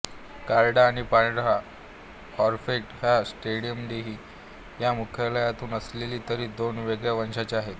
करडा आणि पांढरा पॉंफ्रेट हे स्ट्रोमॅटिइडी या मत्स्यकुलातले असले तरी दोन वेगळ्या वंशांचे आहेत